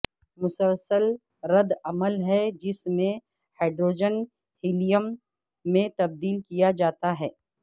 مسلسل رد عمل ہے جس میں ہائیڈروجن ہیلیم میں تبدیل کیا جاتا ہیں